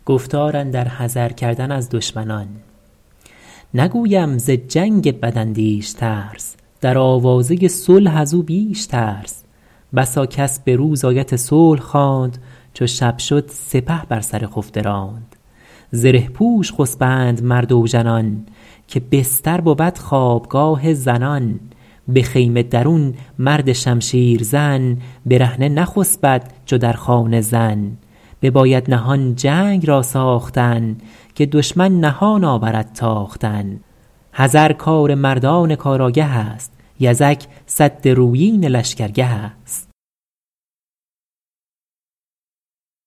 نگویم ز جنگ بد اندیش ترس در آوازه صلح از او بیش ترس بسا کس به روز آیت صلح خواند چو شب شد سپه بر سر خفته راند زره پوش خسبند مرد اوژنان که بستر بود خوابگاه زنان به خیمه درون مرد شمشیر زن برهنه نخسبد چو در خانه زن بباید نهان جنگ را ساختن که دشمن نهان آورد تاختن حذر کار مردان کار آگه است یزک سد رویین لشکر گه است